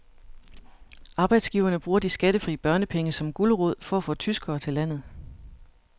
Arbejdsgiverne bruger de skattefri børnepenge som gulerod for at få tyskere til landet.